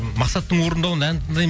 мақсаттың орындауында ән тыңдаймын